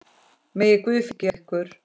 Megi Guð fylgja ykkur.